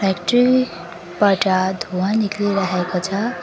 Factory बाट धुवा निक्लिरहेको छ।